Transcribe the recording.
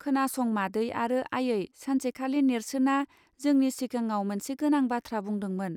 खोनासं मादै आरो आयै सानसेखालि नेर्सोना जोंनि सिगाङाव मोनसे गोनां बाथ्रा बुंदोंमोन.